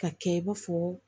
Ka kɛ i b'a fɔ